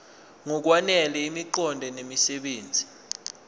ngokwanele imiqondo nemisebenzi